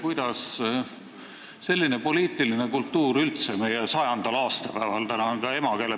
Kuidas on selline poliitiline kultuur üldse võimalik meie 100. aastapäeva järel?